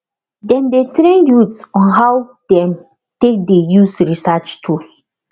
dem dey train youth on how dem take dey use research tools